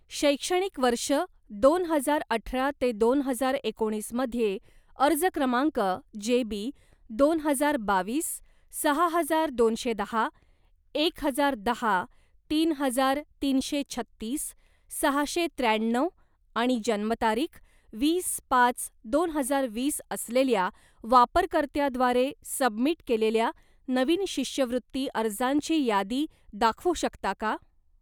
शैक्षणिक वर्ष दोन हजार अठरा ते दोन हजार एकोणीस मध्ये, अर्ज क्रमांक जेबी दोन हजार बावीस सहा हजार दोनशे दहा एक हजार दहा तीन हजार तीनशे छत्तीस सहाशे त्र्याण्णव आणि जन्मतारीख वीस पाच दोन हजार वीस असलेल्या वापरकर्त्याद्वारे सबमिट केलेल्या नवीन शिष्यवृत्ती अर्जांची यादी दाखवू शकता का?